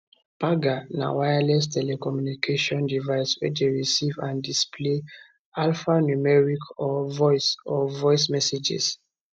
pager na a wireless telecommunications device wey dey receive and displays alphanumeric or voice or voice messages